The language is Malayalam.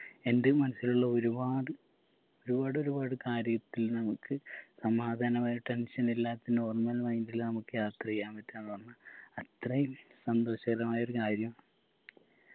എൻ്റെ മനസ്സിലുള്ള ഒരുപാട് ഒരുപാടൊരുപാട് കാര്യത്തിൽ നമ്മുക്ക് സമാധാനമായി tension ഇല്ലാത്ത normal mind ൽ നമ്മുക്ക് യാത്ര ചെയ്യാൻ പറ്റുമെന്ന് പറഞ്ഞാൽ അത്രയും സന്തോഷകരമായ ഒരു കാര്യം